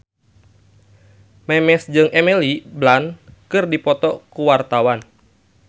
Memes jeung Emily Blunt keur dipoto ku wartawan